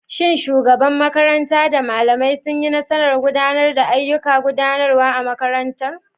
Shin shugabar makaranta da malamai sun yi nasarar gudanar da ayyukan gudanarwa na makarantar?